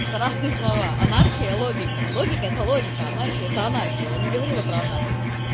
это разные слова анархия логика логика это логика анархия это анархия я не говорила про анархию